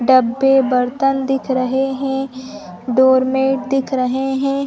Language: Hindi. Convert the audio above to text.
डब्बे बर्तन दिख रहे है डोर मेट दिख रहे हैं |